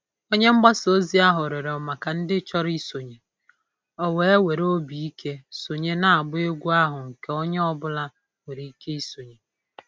Onye mgbasa ozi ahụ rịọrọ maka ndị chọrọ isonye, o wee were obi ike sonye n'agba egwu ahụ nke onye ọ bụla nwere ike isonye.